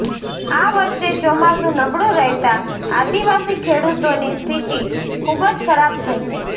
આ વર્ષે ચોમાસુ નબળું રહેતા આદિવાસી ખેડૂતોની સ્થિતિ ખુબજ ખરાબ થઈ છે